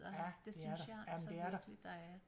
Ja det er der jamen det er der